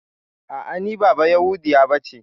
A'a, ni ba bayahudiya bace.